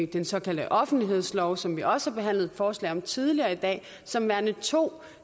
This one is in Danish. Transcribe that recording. den såkaldte offentlighedslov som vi også har behandlet forslag om tidligere i dag som værende to